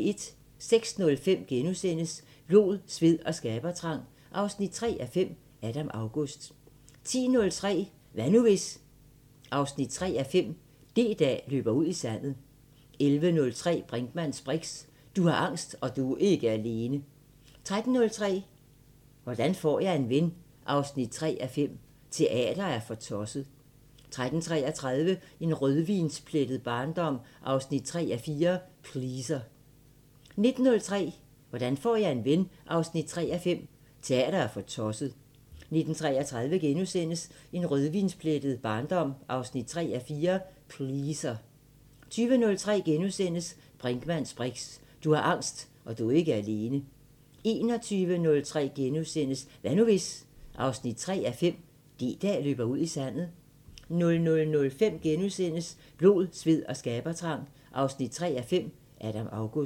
06:05: Blod, sved og skabertrang 3:5 – Adam August * 10:03: Hvad nu hvis...? 3:5 – D-dag løber ud i sandet 11:03: Brinkmanns briks: Du har angst, og du er ikke alene! 13:03: Hvordan får jeg en ven 3:5 – Teater er for tosset 13:33: En rødvinsplettet barndom 3:4 – Pleaser 19:03: Hvordan får jeg en ven 3:5 – Teater er for tosset 19:33: En rødvinsplettet barndom 3:4 – Pleaser * 20:03: Brinkmanns briks: Du har angst, og du er ikke alene! * 21:03: Hvad nu hvis...? 3:5 – D-dag løber ud i sandet * 00:05: Blod, sved og skabertrang 3:5 – Adam August *